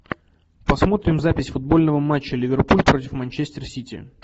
посмотрим запись футбольного матча ливерпуль против манчестер сити